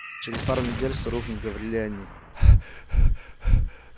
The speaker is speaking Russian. через пару недель всё рухнет говорили они